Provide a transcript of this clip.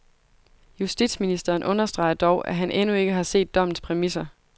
Justitsministeren understreger dog, at han endnu ikke har set dommens præmisser.